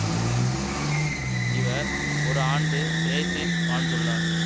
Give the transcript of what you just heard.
இவர் ஒரு ஆண்டு பிரேசில் வாழ்ந்துள்ளார்